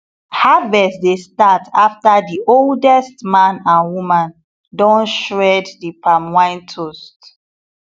harvest dey start after the oldest man and woman don shred the palm wine toast